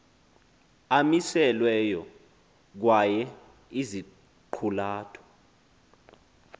amiselweyo kwaye iziqulatho